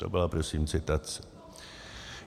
- To byla prosím citace.